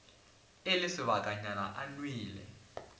e le sebakanyana e nwele